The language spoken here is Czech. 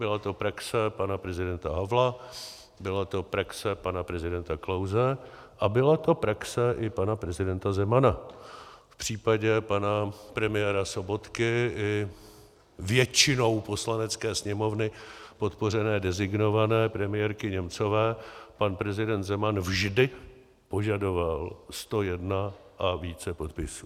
Byla to praxe pana prezidenta Havla, byla to praxe pana prezidenta Klause a byla to praxe i pana prezidenta Zemana - v případě pana premiéra Sobotky i většinou Poslanecké sněmovny podpořené designované premiérky Němcové pan prezident Zeman vždy požadoval 101 a více podpisů.